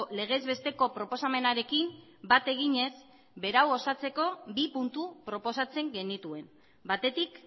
legez besteko proposamenarekin bat eginez berau osatzeko bi puntu proposatzen genituen batetik